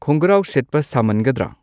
ꯈꯣꯡꯒ꯭ꯔꯥꯎ ꯁꯦꯠꯄ ꯁꯥꯃꯟꯒꯗ꯭ꯔ